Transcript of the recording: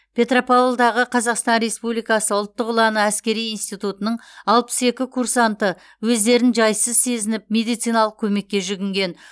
петропавлдағы қазақстан республикасы ұлттық ұланы әскери институтының алпыс екі курсанты өздерін жайсыз сезініп медициналық көмекке жүгінген